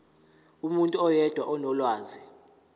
umuntu oyedwa onolwazi